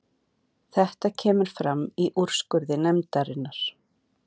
Þetta kemur fram í úrskurði nefndarinnar